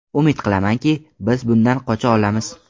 Umid qilamanki, biz bundan qocha olamiz.